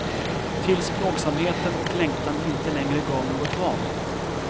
Tills plågsamheten och längtan inte längre gav något val.